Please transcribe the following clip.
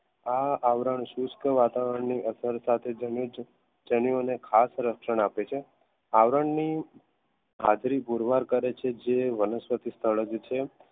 આ આવરણ સિસ્ટ વાતાવરણની અરસાથી જેન્યુ અને ખાત રક્ષણ આપે છે આવરણને હાજરી પૂરવાર કરે છે જે વનસ્પતિ સ્થળ